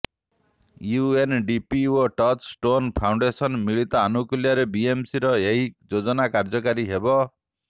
UNDP ଓ touchstone foundation ମିଳିତ ଅନୁକୁଲ୍ୟରେ ବିଏମସିର ଏହି ଯୋଜନା କାର୍ଯ୍ୟକାରୀ ହେବ